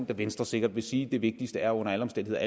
vil venstre sikkert sige at det vigtigste under alle omstændigheder